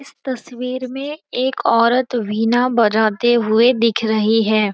इस तस्वीर में एक औरत वीणा बजाते हुए दिख रही है।